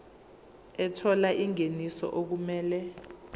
ethola ingeniso okumele